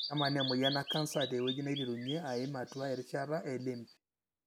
kemaana emoyian ecanser teweuji naiterunyie aim atua erishata e lymph.